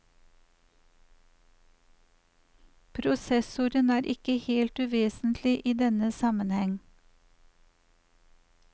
Prosessoren er ikke helt uvesentlig i denne sammenheng.